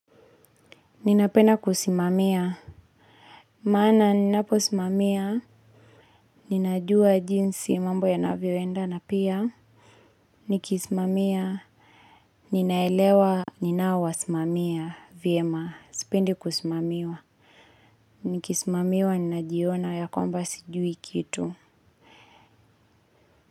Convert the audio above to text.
Ninapena kusimamia. Maana ninapo simamia. Ninajua jinsi mambo yanavyo enda na pia. Nikisimamia. Ninaelewa ninaowasimamia vyema. Sipendi kusimamiwa. Nikisimamiwa ninajiona ya kwamba sijui kitu.